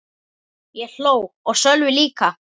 Ég hló og Sölvi líka.